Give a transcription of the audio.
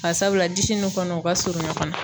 Bari sabula disi n'u kɔnɔ u ka surun ɲɔgɔn na.